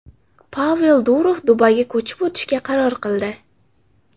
Pavel Durov Dubayga ko‘chib o‘tishga qaror qildi.